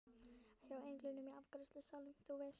Hjá englinum í afgreiðslusalnum, þú veist.